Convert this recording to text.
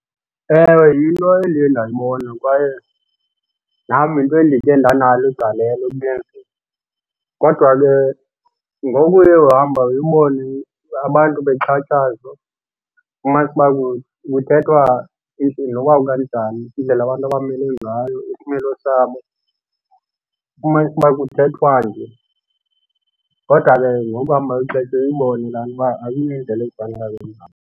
Ewe, yinto endiye ndayibona kwaye nam yinto endikhe ndanalo igalelo ekuyenzeni kodwa ke ngokuye uhamba uyubone abantu bexhatshazwa umafamanise uba kuthethwa emntwini noba kukanganjani indlela abantu abamile ngayo isimilo sabo. Ufumanise uba kuthethwa nje kodwa ke ngokuhamba kwexesha uyibone laa nto uba ayiyo indlela